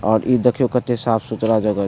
और इ देखियों कते साफ-सुथरा जगह --